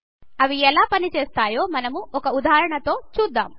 అవి ఎలా పని చేస్తాయో మనం ఒక ఉదాహరణతో చూద్దాం